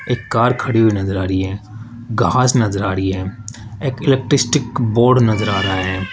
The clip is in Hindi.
एक कार खड़ी हुई नजर आ रही है घास नजर आ रही है एक इलेक्टस्टिक बोर्ड नजर आ रहा है।